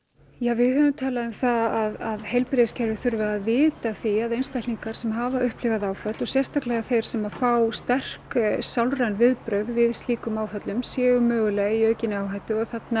við höfum talað um það að heilbrigðiskerfið þurfi að vita af því að einstaklingar sem hafa upplifað áföll og sérstaklega þeir sem fá sterk sálræn viðbrögð við slíkum áföllum séu mögulega í aukinni áhættu